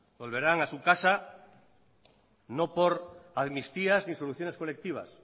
volverán a su casa no por amnistías ni soluciones colectivas